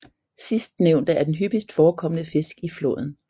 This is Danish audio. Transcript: Sidstnævnte er den hyppigst forekommende fisk i floden